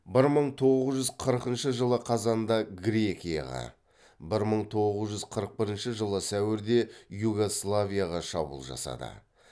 бір мың тоғыз жүз қырқыншы жылы қазанда грекияға бір мың тоғыз жүз қырық бірінші жылы сәуірде югославияға шабуыл жасады